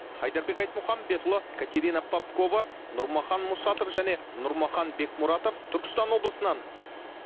айдарбек айтмұхамбетұлы катерина попкова нұрмахан мұсатов және нұрмахан бекмұратов түркістан облысынан